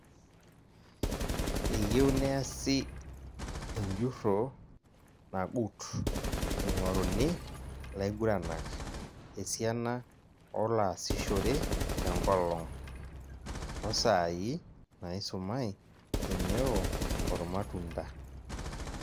Eyiew neasi enjurro nagut, eing'oruni laiguranak, esiana ooloasishore tenkolong', oosaai naisumai teneo oormatunda.